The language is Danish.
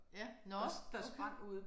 Ja nåh okay